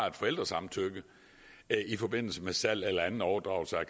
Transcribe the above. et forældresamtykke i forbindelse med salg eller anden overdragelse af